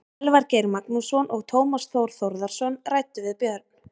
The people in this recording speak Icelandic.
Elvar Geir Magnússon og Tómas Þór Þórðarson ræddu við Björn.